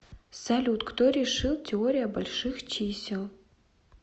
салют кто решил теория больших чисел